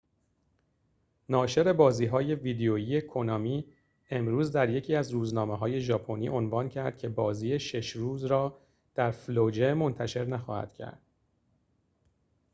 ناشر بازی‌های ویدئویی کونامی امروز در یکی از روزنامه‌های ژاپنی عنوان کرد که بازی شش روز را در فلوجه منتشر نخواهند کرد